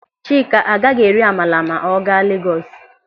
Chika agaghị eri amala ma ọ gaa Legọs.